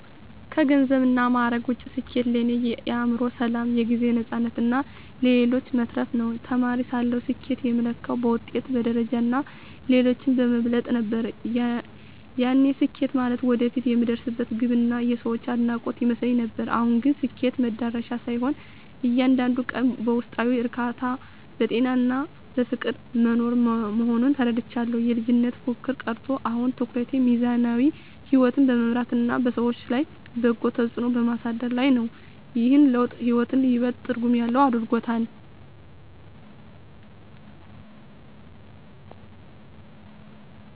ከገንዘብና ማዕረግ ውጭ፣ ስኬት ለእኔ የአእምሮ ሰላም፣ የጊዜ ነፃነትና ለሌሎች መትረፍ ነው። ተማሪ ሳለሁ ስኬትን የምለካው በውጤት፣ በደረጃና ሌሎችን በመብለጥ ነበር፤ ያኔ ስኬት ማለት ወደፊት የምደርስበት ግብና የሰዎች አድናቆት ይመስለኝ ነበር። አሁን ግን ስኬት መድረሻ ሳይሆን፣ እያንዳንዱን ቀን በውስጣዊ እርካታ፣ በጤናና በፍቅር መኖር መሆኑን ተረድቻለሁ። የልጅነት ፉክክር ቀርቶ፣ አሁን ትኩረቴ ሚዛናዊ ሕይወት በመምራትና በሰዎች ላይ በጎ ተጽዕኖ በማሳደር ላይ ነው። ይህ ለውጥ ሕይወትን ይበልጥ ትርጉም ያለው አድርጎታል።